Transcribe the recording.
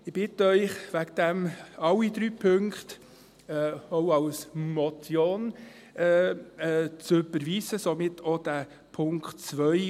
Ich bitte Sie deswegen, alle drei Punkte auch als Motion zu überweisen – somit auch den Punkt 2.